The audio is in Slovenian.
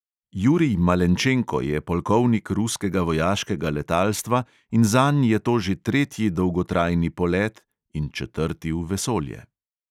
Jurij malenčenko je polkovnik ruskega vojaškega letalstva in zanj je to že tretji dolgotrajni polet (in četrti v vesolje).